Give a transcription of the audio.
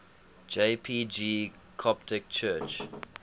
jpg coptic church